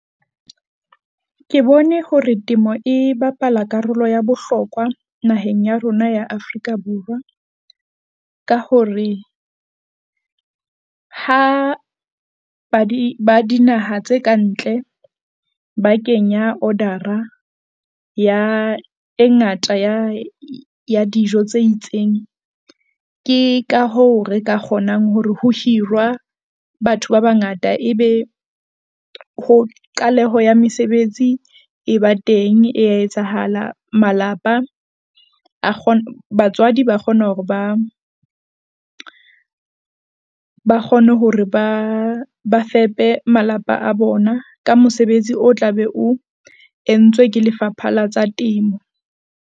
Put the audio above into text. Ke bone hore temo e bapala karolo ya bohlokwa naheng ya rona ya Afrika Borwa ka hore. Ha ba di ba dinaha tse kantle, ba kenya order-ra ya e ngata ya ya dijo tse itseng. Ke ka hoo re ka kgonang hore ho hirwa batho ba bangata ebe ho qaleho ya mesebetsi e ba teng e ya etsahala. Malapa a kgona, batswadi ba kgona hore ba kgone hore ba fepe malapa a bona ka mosebetsi o tla be o entswe ke Lefapha la tsa Temo.